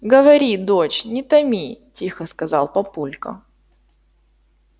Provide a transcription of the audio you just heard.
говори дочь не томи тихо сказал папулька